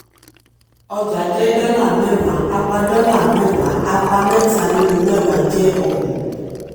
ọjà jẹ́ dọ́là mẹ́wàá apá dọ́là mẹ́wàá apá mẹ́ta ninu mẹ́wàá jẹ́ ọgbọ̀n.